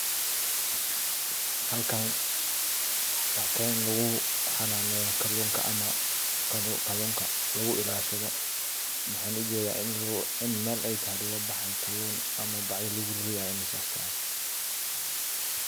Halkan waa keyn lagu hananeyo kallunka ama kallunka lagu ilashadho maxan u jedaa ini ay tahay mel lagala bahayo kallun oo bacya lagu ridayo iney sas tahay.